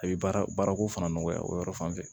A bɛ baarako fana nɔgɔya o yɔrɔ fan fɛ